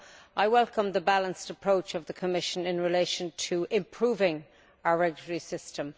So I welcome the balanced approach of the Commission in relation to improving our regulatory system.